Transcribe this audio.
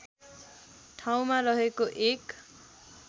ठाउँमा रहेको एक